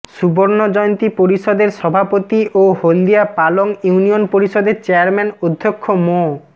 সুবর্ণ জয়ন্তী পরিষদের সভাপতি ও হলদিয়া পালং ইউনিয়ন পরিষদের চেয়ারম্যান অধ্যক্ষ মো